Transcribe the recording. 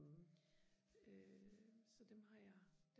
øh så dem har jeg